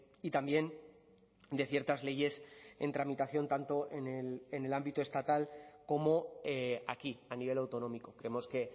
y también de ciertas leyes en tramitación tanto en el ámbito estatal como aquí a nivel autonómico creemos que